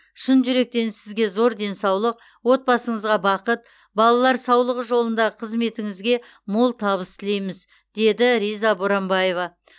шын жүректен сізге зор денсаулық отбасыңызға бақыт балалар саулығы жолындағы қызметіңізге мол табыс тілейміз деді риза боранбаева